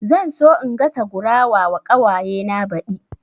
Zan so in gasa gurawa wa ƙawaye na baɗi